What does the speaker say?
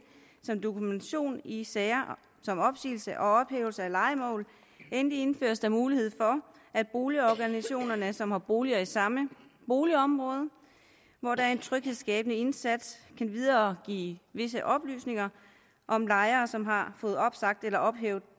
som dokumentation i sager om opsigelse og ophævelse af lejemål endelig indføres der mulighed for at boligorganisationerne som har boliger i samme boligområder hvor der er en tryghedsskabende indsats kan videregive visse oplysninger om lejere som har fået opsagt eller ophævet